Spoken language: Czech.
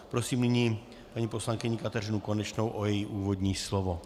Prosím nyní paní poslankyni Kateřinu Konečnou o její úvodní slovo.